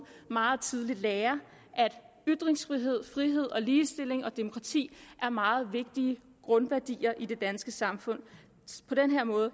meget tidligt lærer at ytringsfrihed frihed ligestilling og demokrati er meget vigtige grundværdier i det danske samfund på den her måde